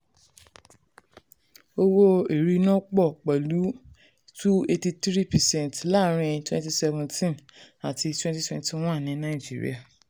owó ìrìnnà pọ̀ pẹ̀lú two eighty three percent láàárín twenty seventeen àti twenty twenty one ní nàìjíríà.